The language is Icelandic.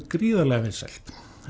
gríðarlega vinsælt